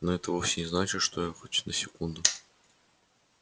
но это вовсе не значит что я хоть на секунду